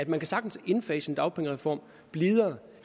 man kan sagtens indfase en dagpengereform blidere